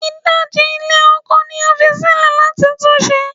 Idaji ilẹ oko ni a fi silẹ lati tun ṣe